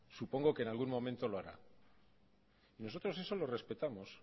supongo que en algún momento lo hará nosotros eso lo respetamos